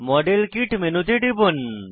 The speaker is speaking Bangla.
মডেল কিট মেনুতে টিপুন